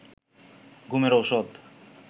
ঘুমের ঔষধ